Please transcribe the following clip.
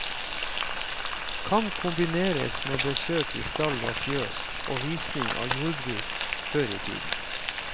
Kan kombineres med besøk i stall og fjøs og visning av jordbruk før i tiden.